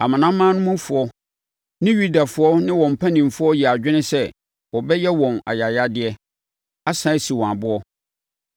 Amanamanmufoɔ ne Yudafoɔ no ne wɔn mpanimfoɔ yɛɛ adwene sɛ wɔbɛyɛ wɔn ayayadeɛ, asane asi wɔn aboɔ.